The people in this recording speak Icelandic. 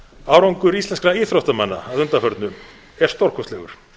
árangur íslenskra íþróttamanna að undanförnu er stórkostlegur